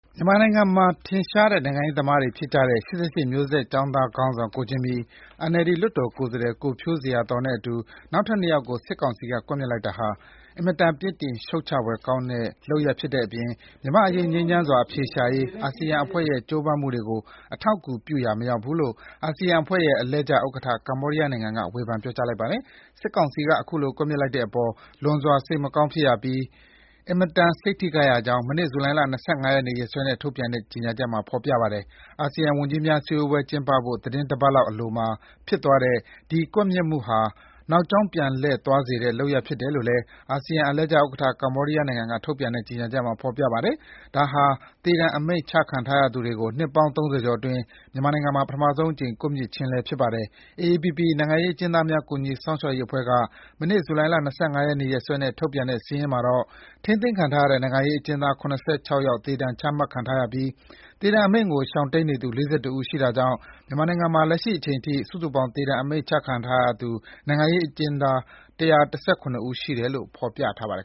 မြန်မာနိုင်ငံမှာ ထင်ရှားတဲ့ နိုင်ငံရေးသမားတွေဖြစ်ကြတဲ့ ၈၈ မျိုးဆက်ကျောင်းသားခေါင်းဆောင် ကိုဂျင်မီ၊ NLD လွှတ်တော်ကိုယ်စားလှယ် ကိုဖြိုးဇေယျာသော် တို့နဲ့အတူ နောက်ထပ် ၂ ယောက်ကို စစ်ကောင်စီက ကွပ်မျက်လိုက်တာဟာ အင်မတန် ပြစ်တင်ရှုတ်ချဖွယ်ကောင်းတဲ့ လုပ်ရပ်ဖြစ်တဲ့အပြင် မြန်မာ့အရေး ငြိမ်းချမ်းစွာ အဖြေရှာနိုင်ရေး အာဆီယံအဖွဲ့ရဲ့ ကြိုးပမ်းမှုတွေကို ပံ့ပိုးပေးရာ မရောက် ဘူးလို့ အာဆီယံအဖွဲ့ရဲ့ အလှည့်ကျဥက္ကဋ္ဌ ကမ္ဘောဒီးယားနိုင်ငံက ဝေဖန် ပြောကြားလိုက်ပါတယ်။ စစ်ကောင်စီက အခုလို ကွပ်မျက်လိုက်တဲ့အပေါ် လွန်စွာ စိတ်မကောင်းဖြစ်ရပြီး အင်မတန် စိတ်ထိခိုက်ရကြောင်း မနေ့ ဇူလိုင်လ ၂၅ ရက်နေ့ ရက်စွဲနဲ့ ထုတ်ပြန်တဲ့ ကြေညာချက်မှာ ဖော်ပြထားပါတယ်။ အာဆီယံ ဝန်ကြီးများစည်းဝေးပွဲ ကျင်းပဖို့ သီတင်းတပတ်လောက်အလိုမှာ ဖြစ်သွားတဲ့ ဒီ ကွပ်မျက်မှုဟာ နောက်ကြောင်းပြန်လှည့်သွားစေတဲ့ လုပ်ရပ်ဖြစ်တယ်လို့လည်း အာဆီယံ အလှည့်ကျဥက္ကဋ္ဌ ကမ္ဘောဒီးယားနိုင်ငံက ထုတ်ပြန်တဲ့ ကြေညာချက်မှာ ဖော်ပြထားပါတယ်။ ဒါဟာ သေဒဏ် အမိန့်ချခံထားရသူတွေကို နှစ်ပေါင်း ၃၀ ကျော်အတွင်း မြန်မာနိုင်ငံမှာ ပထမဆုံးအကြိမ် ကွပ်မျက်ခြင်းလည်း ဖြစ်ပါတယ်။ AAPP နိုင်ငံရေးအကျဉ်းသားများ ကူညီစောင့်ရှောက်ရေးအဖွဲ့က မနေ့ ဇူလိုင်လ ၂၅ ရက်နေ့ ရက်စွဲနဲ့ ထုတ်ပြန်တဲ့စာရင်းမှာတော့ ထိန်းသိမ်းခံထားရတဲ့ နိုင်ငံရေးအကျဉ်းသား ၇၆ ယောက် သေဒဏ်ချမှတ်ထားရပြီး သေဒဏ်အမိန့်ကို ရှောင်တိမ်း နေသူ ၄၁ ဦးရှိတာကြောင့် မြန်မာနိုင်ငံမှာ လက်ရှိအချိန်အထိ စုစုပေါင်း သေဒဏ် အမိန့် ချမှတ်ခံထားရသူ နိုင်ငံရေးအကျဉ်းသား ၁၁၇ ဦး ရှိတယ်လို့ ဖော်ပြထားပါတယ်